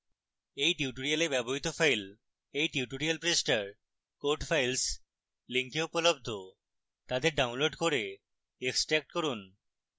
এই tutorial ব্যবহৃত files এই tutorial পৃষ্ঠায় code files link উপলব্ধ তাদের ডাউনলোড করে এক্সট্র্যাক্ট করুন